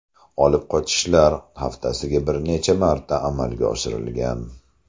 Olib qochishlar haftasiga bir necha marta amalga oshirilgan.